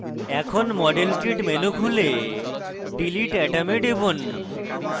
এখন model kit menu খুলে delete atom এ টিপুন